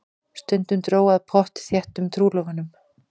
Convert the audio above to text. Stundum dró að pottþéttum trúlofunum.